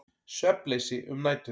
Svefnleysi um nætur.